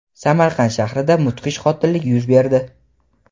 Samarqand shahrida mudhish qotillik yuz berdi.